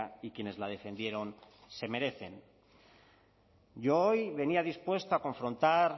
y quienes la defendieron se merecen yo hoy venía dispuesto a confrontar